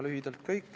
Lühidalt kõik.